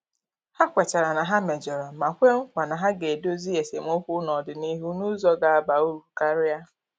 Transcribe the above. Ha kwetara na ha mejọrọ ma kwe nkwa na ha ga-edozi esemokwu n'ọdịnịhu n'ụzọ ga-aba uru karia.